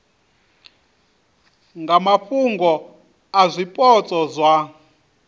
nga mafhungo a zwipotso zwa